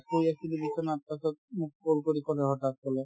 বহি আছিলো বিচনাত তাৰপাছত মোক call কৰি ক'লে হঠাৎ ক'লে